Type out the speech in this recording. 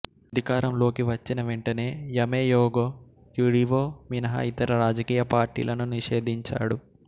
అధికారంలోకి వచ్చిన వెంటనే యమేయోగో యుడివో మినహా ఇతర రాజకీయ పార్టీలను నిషేధించాడు